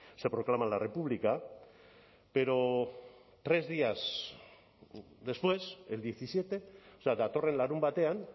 se proclama la república pero tres días después el diecisiete o sea datorren larunbatean